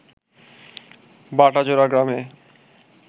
বাটাজোড়া গ্রামে